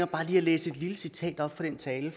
bare lige at læse et lille citat op fra den tale